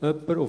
Punkt 2: